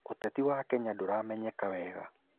ũteti wa Kenya ndũramenyeka wega.